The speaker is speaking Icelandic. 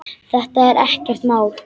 Þetta er ekkert mál!